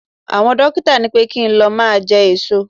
Àwọn dókítà ní pé kí n lọ máa jẹ èso.